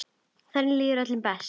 Þannig líður öllum best.